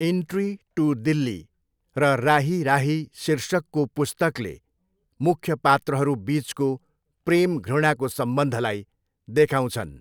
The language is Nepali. इन्ट्री टु दिल्ली' र 'राही राही' शीर्षकको पुस्तकले मुख्य पात्रहरू बिचको प्रेम घृणाको सम्बन्धलाई देखाउँछन्।